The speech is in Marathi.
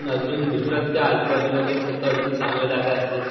अजून दुसरा तुझ्या आजूबाजूला जर कोणतं आजून चांगलं जागा असेल.